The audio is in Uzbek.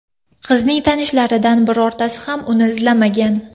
Qizning tanishlaridan birortasi ham uni izlamagan.